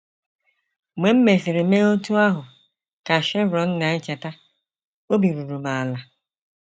Mgbe m mesịrị mee otú ahụ, ” ka Shevone na - echeta, “ obi ruru m ala.